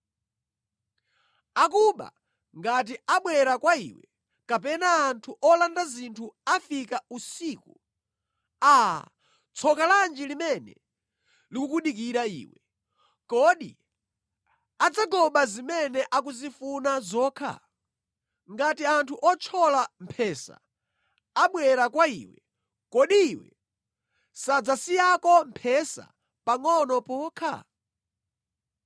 “Anthu akuba akanabwera kwa iwe, kapena anthu olanda zinthu akanafika usiku, aa, tsoka lanji limene likukudikira iwe! Kodi akanangotengako zimene akuzifuna zokha? Ngati anthu othyola mphesa akanafika, kodi akanakusiyiraniko mphesa pangʼono pokha?